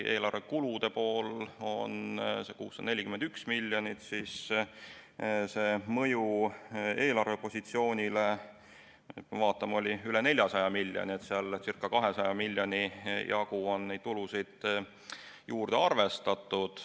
Eelarve kulude pool on 641 miljonit eurot, aga mõju eelarvepositsioonile on üle 400 miljoni euro, circa 200 miljoni jagu on tulusid juurde arvestatud.